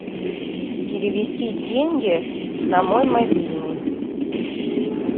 перевести деньги на мой мобильный